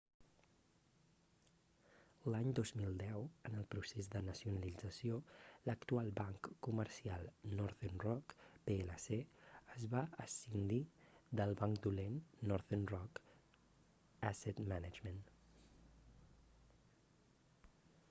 l'any 2010 en el procés de nacionalització l'actual banc comercial northern rock plc es va escindir del banc dolent northern rock asset management